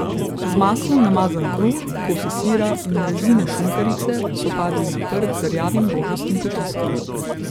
Z maslom namazan kruh, kosi sira in rezine šunkarice so padli na prt z rjavim rožastim potiskom.